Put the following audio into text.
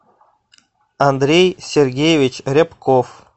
андрей сергеевич рябков